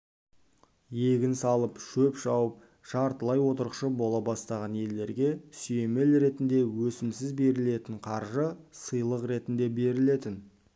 егін салып шөп шауып жартылай отырықшы бола бастаған елдерге сүйемел ретінде өсімсіз берілетін қаржы сыйлық ретінде берілетін